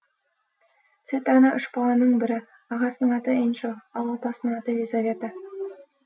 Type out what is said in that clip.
цветана үш баланың бірі ағасының аты энчо ал апасының аты елизавета